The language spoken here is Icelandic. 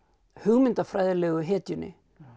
hugmyndafræðilegu hetjunni